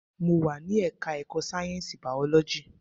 Mo wà ní ẹka ẹ̀kọ́ sáyẹnsì biology.